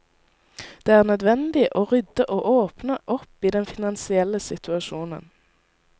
Det er nødvendig å rydde og åpne opp i den finansielle situasjonen.